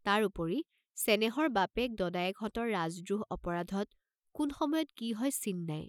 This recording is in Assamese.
তাৰ উপৰি চেনেহৰ বাপেক দদায়েকহঁতৰ ৰাজদ্ৰোহ অপৰাধত কোন সময়ত কি হয় চিন নাই।